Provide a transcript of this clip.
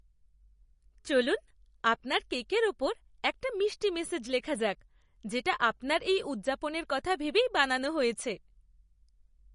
চলুন আপনার কেকের ওপর একটা মিষ্টি মেসেজ লেখা যাক, যেটা আপনার এই উদযাপনের কথা ভেবেই বানানো হয়েছে।